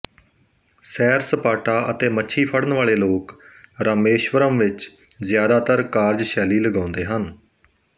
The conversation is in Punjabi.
ਸੈਰ ਸਪਾਟਾ ਅਤੇ ਮੱਛੀ ਫੜਨ ਵਾਲੇ ਲੋਕ ਰਾਮੇਸ਼ਵਰਮ ਵਿਚ ਜ਼ਿਆਦਾਤਰ ਕਾਰਜਸ਼ੈਲੀ ਲਗਾਉਂਦੇ ਹਨ